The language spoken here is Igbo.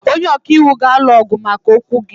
Onye ọka iwu ga-alụ ọgụ maka okwu gị.